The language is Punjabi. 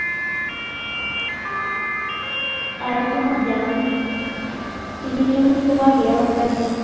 ਆਇਓ ਘੁੱਮਣ ਜਾਵਾਂਗੇ ਘੁਮਾ ਕੇ ਲਿਆਵਾਂਗੇ ਤੁਹਾਨੂੰ।